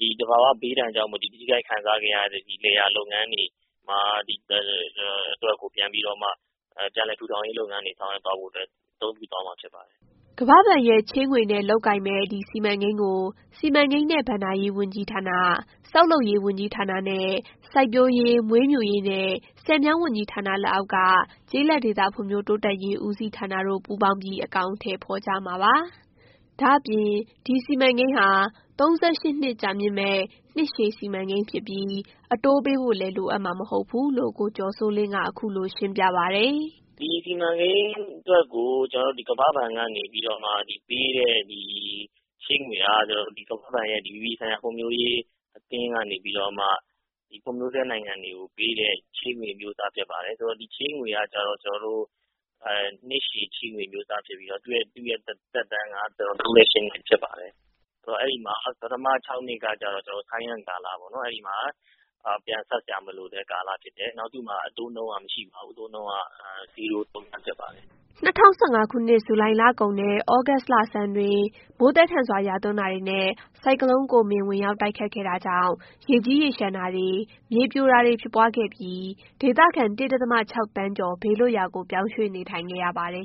ဒီ သဘာ၀ ဘေးဒဏ်ကြောင့်မို့လို့ ထိခိုက်ခံစားနေရတဲ့ လယ်ယာလုပ်ငန်းတွေအတွက်ကို ပြန်လည်ထူထောင်ရေးလုပ်ငန်းတွေဆောင်ရွက်သွားဖို့အတွက် အသုံးပြုသွားမှာဖြစ်ပါတယ်။” ကမ္ဘာ့ဘဏ်ရဲ့ ချေးငွေနဲ့ လုပ်ကိုင်မယ့် ဒီ စီမံကိန်းကို စီမံကိန်းနဲ့ဘဏ္ဍာရေးဝန်ကြီးဌာန၊ ဆောက်လုပ်ရေးဝန်ကြီးဌာနနဲ့ စိုက်ပျိုးရေး၊ မွေးမြူရေးနဲ့ ဆည်မြောင်းဝန်ကြီးဌာန လက်အောက်က ကျေးလက်ဒေသဖွံ့ဖြိုးတိုးတက်ရေးဦးစီးဌာန တို့ ပူးပေါင်းပြီး အကောင်အထည်ဖော်ကြမှာဖြစ်ပါတယ်။ ဒါ့အပြင် ဒီစီမံကိန်းဟာ ၃၈ နှစ်ကြာမြင့်မယ့် နှစ်ရှည်စီမံကိန်းဖြစ်ပြီး အတိုးပေးဖို့လည်း လိုအပ်မှာမဟုတ်ဘူးလို့ ကိုကျော်စိုးလင်းက အခုလိုရှင်းပြပါတယ်။ “ဒီစီမံကိန်းအတွက်ကို ကျနော်တို့ ကမ္ဘာ့ဘဏ်ကနေပေးတဲ့ ချေးငွေဟာ ကမ္ဘာ့ဘဏ်ရဲ့ အပြည်ပြည်ဆိုင်ရာ ဖွံ့ဖြိုးရေးအသင်းကနေပြီးတော့မှ ဖွံ့ဖြိုးဆဲ နိုင်ငံကိုပေးတဲ့ ချေးငွေအမျိုးအစားဖြစ်ပါတယ်။ ဒီချေးငွေဟာ ကျနော်တို့ နှစ်ရှည်ချေးငွေအမျိုးအစားဖြစ်ပြီးတော့ သူ့သက်တမ်းက ၃၈ နှစ်ဖြစ်ပါတယ်။ ဆိုတော့ ပထမ ၆ နှစ်ကတော့ ပြန်ဆပ်စရာမလိုတဲ့ကာလဖြစ်တယ်။ သူ့မှာ အတိုးနှုန်းကတော့ မရှိပါဘူး။ ဇီးရိုး အတိုးနှုန်း ဖြစ်ပါတယ်။” ၂၀၁၅ ခုနှစ် ဇူလိုင်လကုန်နဲ့ သြဂုတ်လဆန်းတွင်း မိုးသည်းထန်စွာရွာသွန်းတာတွေနဲ့ ဆိုင်ကလုန်းကိုမင် တိုက်ခတ်ခဲ့တာကြောင့် ရေကြီးရေလျှံတာတွေ၊ မြေပြိုတာတွေ ဖြစ်ပွားခဲ့ပြီး ဒေသခံ ၁.၆ သန်းကျော် ဘေးလွတ်ရာကို ပြောင်းရွှေ့နေထိုင်ခဲ့ရပါတယ်